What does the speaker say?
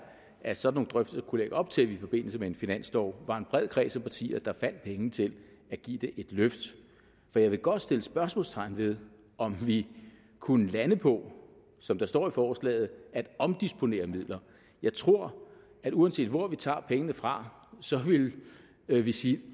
at sådanne drøftelser kunne lægge op til i forbindelse med en finanslov at var en bred kreds af partier der fandt penge til at give det et løft for jeg vil godt sætte spørgsmålstegn ved om vi kunne lande på som der står i forslaget at omdisponere midler jeg tror at uanset hvor vi tager pengene fra vil vi sige